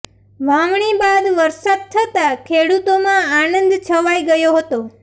વાવણી બાદ વરસાદ થતા ખેડુતોમાં આનંદ છવાય ગયો હતો